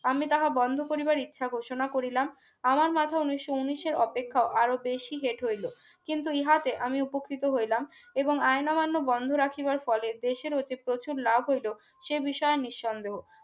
আমি তাহা বন্ধ করিবার ইচ্ছা ঘোষণা করিলাম আমার মাথা উন্নিশো উন্নিশের অপেক্ষা আরো বেশি হেট হইল কিন্তু ইহাতে আমি উপকৃত হইলাম এবং আইন অমান্য বন্ধ রাখিবার ফলে দেশের হতে প্রচুর লাভ হইল সে বিষয়ে নিঃসন্দেহ